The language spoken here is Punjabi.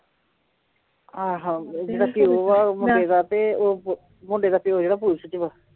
ਆਹ ਜਿਹੜਾ ਪਿਉ ਆ ਉਹ ਮੁੰਡੇ ਦਾ ਤੇ ਉਹ ਪੁ ਮੁੰਡੇ ਦਾ ਪਿਉ ਜਿਹੜਾ ਪੁਲਿਸ ਚ ਵਾ